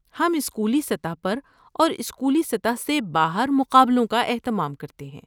ہم اسکولی سطح پر اور اسکولی سطح سے باہر مقابلوں کا اہتمام کرتے ہیں۔